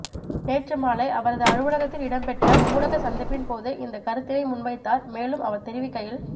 நேற்று மாலை அவரது அலுவலத்தில் இடம்பெற்ற ஊடக சந்திப்பின் போது இந்தக் கருத்தினை முன்வைத்தார் மேலும் அவர் தெரிவிக்கையில்